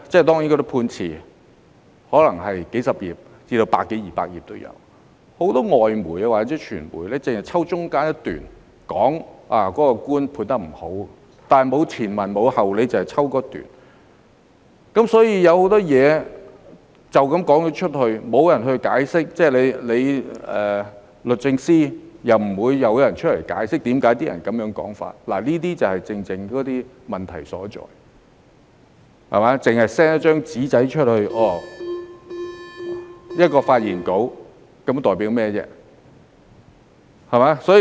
當然，判詞可能有數十頁至百多二百頁之多，很多外媒或傳媒只是抽取其中一段，便說法官判得不好，卻沒有前文後理，只是抽取某一段，所以很多事情就這樣地說出去，沒有人作解釋，律政司又不會有人出來解釋為何那些人會這麼說，這些正正是問題所在，只是 send 張"紙仔"或一份發言稿，這又能代表甚麼呢？